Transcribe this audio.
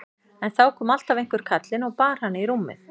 En þá kom alltaf einhver kallinn og bar hana í rúmið.